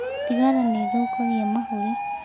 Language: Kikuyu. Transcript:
Thigara nĩ ĩthũkagia mahũrĩ.